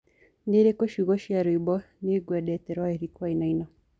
niĩrĩkũ ciugo cĩa rwĩmbo ni nĩngwendete rwa Eric wainaina